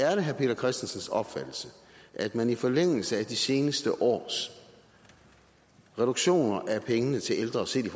er det herre peter christensens opfattelse at man i forlængelse af de seneste års reduktioner af pengene til ældre set i